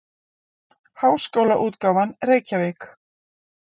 Háskólaútgáfan Reykjavík.